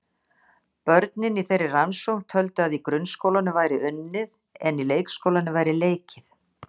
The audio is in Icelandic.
Börnin í þeirri rannsókn töldu að í grunnskólanum væri unnið en í leikskólanum væri leikið.